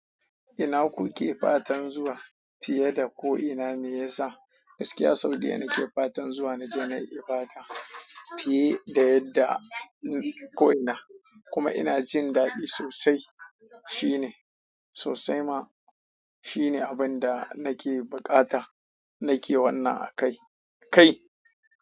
Ina kuke fatan zuwa fiye da ko'ina? Me yasa gaskiya Saudiya nake fatan zuwa na ji na yi bata fiye da yadda ko'ina kuma ina jin daɗi sosai. Shi ne sosai ma shi ne abin da nake buƙata nike wannan a kai kai.